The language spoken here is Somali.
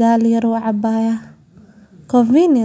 ee leh tignoolajiyada horumarsan sida.